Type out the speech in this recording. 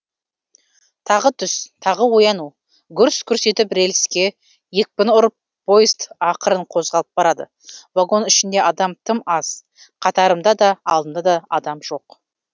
тағы түс тағы ояну гүрс гүрс етіп рельске екпін ұрып поезд ақырын қозғалып барады вагон ішінде адам тым аз қатарымда да алдымда да адам жоқ